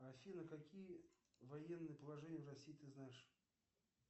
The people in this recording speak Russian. афина какие военные положения в россии ты знаешь